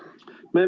Aitäh!